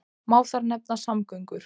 Má þar nefna samgöngur.